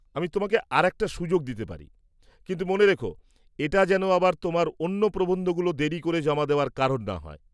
আমি তোমাকে আর একটা সুযোগ দিতে পারি, কিন্তু মনে রেখ এটা যেন আবার তোমার অন্য প্রবন্ধগুলো দেরি করে জমা দেওয়ার কারণ না হয়।